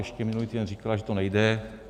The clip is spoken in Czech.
Ještě minulý týden říkala, že to nejde.